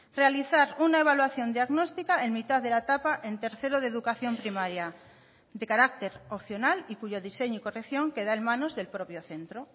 realizar una evaluación diagnóstica en mitad de la etapa en tercero de educación primaria de carácter opcional y cuyo diseño y corrección queda en manos del propio centro